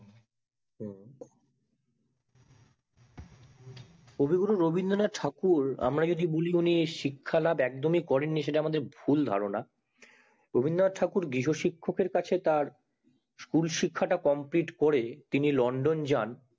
কবি গুরু রবীন্দ্রনাথ ঠাকুর আমরা যেটা শিক্ষা লাভ একদম ই করেন নি সেটা আমাদের ভুল ধারণা রবীন্দ্রনাথ ঠাকুর গৃহ শিক্ষক এর কাছে তার school শিক্ষা টা complete করে তিনি লন্ডন যান